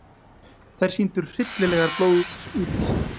Þær sýndu hryllilegar blóðsúthellingar á vígstöðvunum.